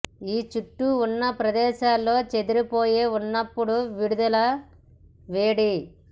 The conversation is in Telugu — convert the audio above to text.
ఈ చుట్టూ ఉన్న ప్రదేశంలో చెదిరిపోయే ఉన్నప్పుడు విడుదల వేడి